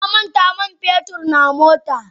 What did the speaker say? Na manta man fetur na mota.